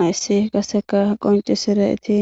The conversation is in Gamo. Hayssi qaseka qoncisire eti